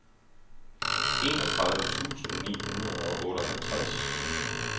enogtredive tusind ni hundrede og otteoghalvtreds